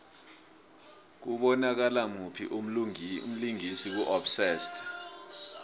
kubonakala muphi umlingisi ku obsessed